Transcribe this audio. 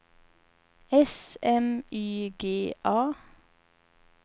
S M Y G A